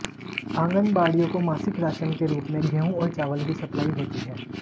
आंगनबाडिय़ों को मासिक राशन के रूप में गेहूं और चावल की सप्लाई होती है